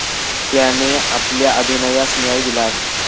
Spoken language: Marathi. त्याने आपल्या अभिनयास न्याय दिला आहे.